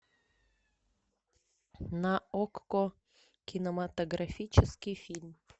на окко кинематографический фильм